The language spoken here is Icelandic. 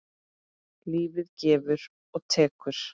Lífið gefur og tekur.